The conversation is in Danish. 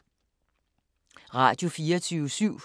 Radio24syv